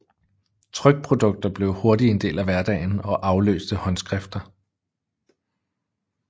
Trykprodukter blev hurtigt en del af hverdagen og afløste håndskrifter